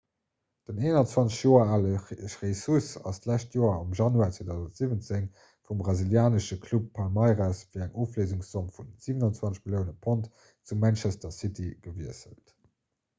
den 21 joer ale jesus ass d'lescht joer am januar 2017 vum brasilianesche club palmeiras fir eng ofléisungszomm vu 27 millioune pond zu manchester city gewiesselt